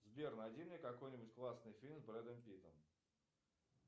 сбер найди мне какой нибудь классный фильм с бредом питом